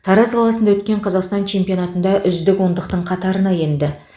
тараз қаласында өткен қазақстан чемпионатында үздік ондықтың қатарына енді